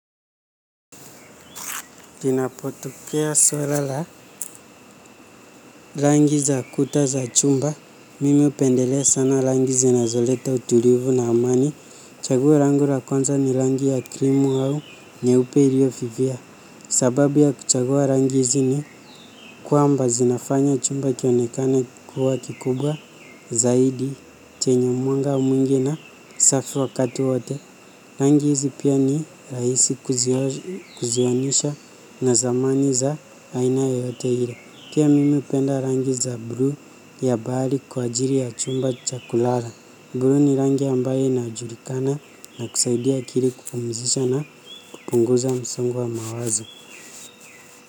Kinapotokea swala la rangi za kuta za chumba mimi upendelea sana rangi zinazoleta utulivu na amani. Chaguo langu lakonza ni rangi ya krimu hau nyeupe ilio vivia. Sababu ya kuchagua rangi zini kuamba zinafanya chumba kionekane kuwa kikubwa. Zaidi chenye mwanga mwingi na safi wakati wote. Rangi hizi pia ni raisi kuzionesha na zamani za aina yoyote hile. Kia mimi upenda rangi za bluu ya bali kwa ajiri ya chumba cha kulala. Blue ni rangi ambaye ina ajulikana na kusaidia akili kupumzisha na kupunguza msongo wa mawazo.